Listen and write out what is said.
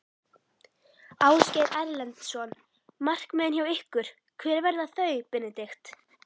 Ásgeir Erlendsson: Markmiðin hjá ykkur, hver verða þau Benedikt?